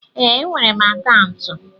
Ee, enwere m akaụntụ.